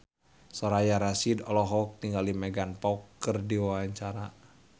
Soraya Rasyid olohok ningali Megan Fox keur diwawancara